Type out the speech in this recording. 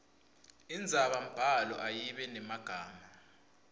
indzabambhalo ayibe nemagama